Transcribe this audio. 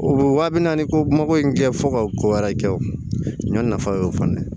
O wa bi naani ko mako in kɛ fo ka ko wɛrɛ kɛ o ɲɔ nafa y'o fana ye